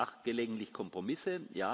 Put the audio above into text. Ja, ich mache gelegentlich Kompromisse.